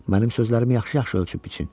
mənim sözlərimi yaxşı-yaxşı ölçüb-biçin.